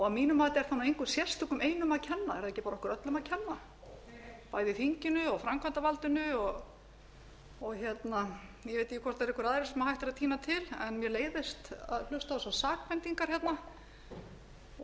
að mínu mati er það engum sérstökum einum að kenna er það ekki bara okkur öllum að kenna bæði þinginu og framkvæmdarvaldinu og ég veit ekki hvort það eru einhverjir aðrir sem hægt er að tína til mér leiðir að hlusta á þessar sakbendingar hérna og það